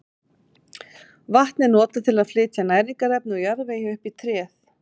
Vatn er notað til að flytja næringarefni úr jarðvegi upp í tréð.